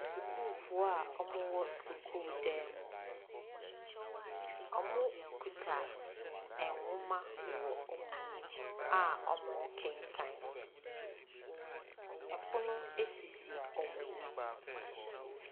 Asukuufoɔ a wɔwɔn sukuu dan mu. Wɔkuta nwoma wɔ wɔn anim a wɔrekenkan. Pono sisi wɔn anim.